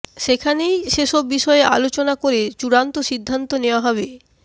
সেখানেই সেসব বিষয়ে আলোচনা করে চূড়ান্ত সিদ্ধান্ত নেওয়া হবে